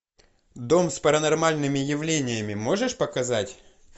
дом с паранормальными явлениями можешь показать